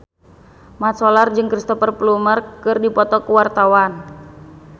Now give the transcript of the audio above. Mat Solar jeung Cristhoper Plumer keur dipoto ku wartawan